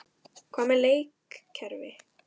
Hvað með leikkerfi?